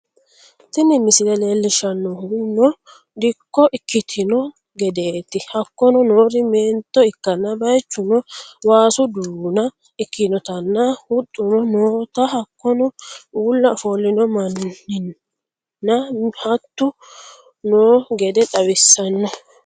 Tinni mislee lelshannohuno diiko ekkitnona geddeti hakonno noori mennto ekkana baychunno wassu duuna ekinnotana huxunno noota hakkono ulla ofolinno mannina huttu noo geede xawisanno